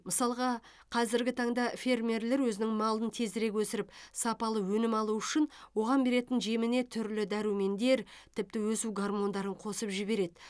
мысалға қазіргі таңда фермерлер өзінің малын тезірек өсіріп сапалы өнім алу үшін оған беретін жеміне түрлі дәрумендер тіпті өсу гормондарын қосып жібереді